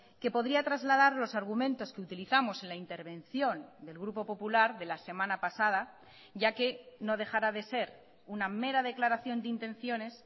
que podría trasladar los argumentos que utilizamos en la intervención del grupo popular de la semana pasada ya que no dejará de ser una mera declaración de intenciones